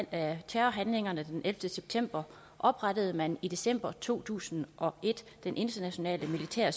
af terrorhandlingerne den ellevte september oprettede man i december to tusind og et den internationale militære